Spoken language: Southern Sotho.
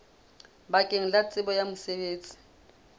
bakeng la tsebo ya mosebetsi